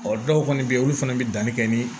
Ɔ dɔw kɔni bɛ yen olu fana bɛ danni kɛ ni